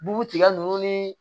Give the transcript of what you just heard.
Bu tigɛ nunnu ni